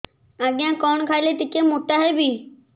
ଆଜ୍ଞା କଣ୍ ଖାଇଲେ ଟିକିଏ ମୋଟା ହେବି